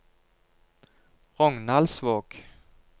Rognaldsvåg